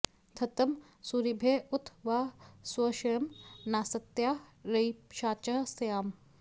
ध॒त्तं सू॒रिभ्य॑ उ॒त वा॒ स्वश्व्यं॒ नास॑त्या रयि॒षाचः॑ स्याम